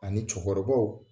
Ani cɛkɔrɔbaw